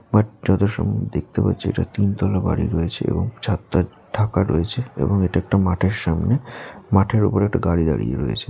যত সময় দেখতে পারছি এটা তিনতলা বাড়ি রয়েছে এবং ছাদ টা ঢাকা রয়েছে এবং এটা একটা মাঠের সামনে মাঠের উপর একটা গাড়ি দাঁড়িয়ে রয়েছে।